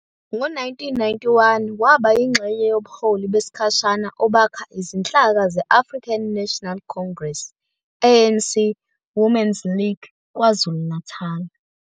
Ngo-1991 waba yingxenye yobuholi besikhashana obakha izinhlaka ze-African National Congress, ANC, Women's League KwaZulu-Natal.